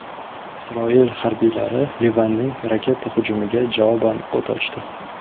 Isroil harbiylari Livanning raketa hujumiga javoban o‘t ochdi.